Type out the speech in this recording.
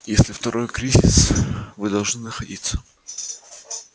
если второй кризис вы должны находиться